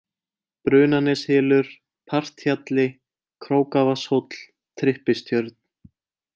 Brunaneshylur, Parthjalli, Krókavatnshóll, Tryppistjörn